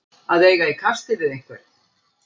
Að eiga í kasti við einhvern